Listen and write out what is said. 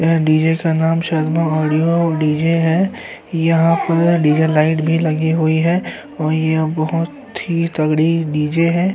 यह डी.जे का नाम शर्मा ऑडियो डी.जे है। यहाँ पर डी.जे लाइट भी लगी हुई है और यह बहुत ही तगड़ी डी.जे है।